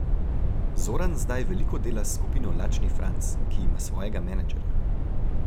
Zoran zdaj veliko dela s skupino Lačni Franz, ki ima svojega menedžerja.